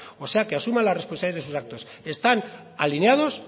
o sea que asuma la responsabilidad de sus actos están alineados